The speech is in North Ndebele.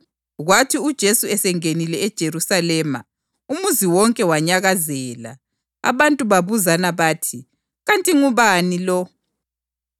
Kwathi uJesu esengenile eJerusalema, umuzi wonke wanyakazela, abantu babuzana bathi, “Kanti ngubani lo?”